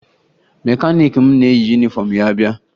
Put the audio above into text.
Mekaniiki m na-eyi yunifọmụ ya abịa